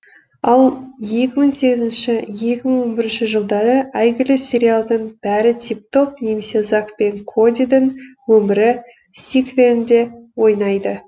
ал екі мың сегізінші екі мың он бірінші жылдары әйгілі сериалдың бәрі тип топ немесе зак пен кодидің өмірі сиквелінде ойнайды